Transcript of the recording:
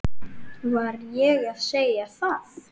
Var ég að segja það?